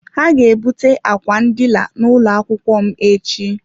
Ha ga-ebute ákwà ndina n'ụlọ akwụkwọ m echi.